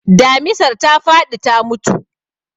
Damisar ta faɗi ta mutu.